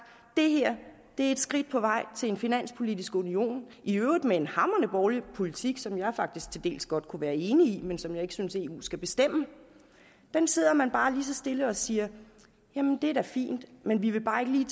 det her er et skridt på vej til en finanspolitisk union i øvrigt med en hamrende borgerlig politik som jeg faktisk til dels godt kunne være enig i men som jeg ikke synes eu skal bestemme om den sidder man bare lige så stille og siger jamen det er da fint men vi vil bare ikke lige